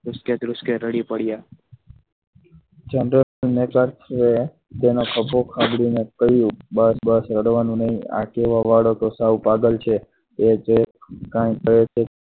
ધ્રુસકે ધ્રુસકે રડી પડ્યા general major છે તેનો ખભો થાપડીને કહ્યું બસ બસ રડવાનું નહીં આ કહેવા વાળો તો સાવ પાગલ છે એ જે કાંઈ કહે તે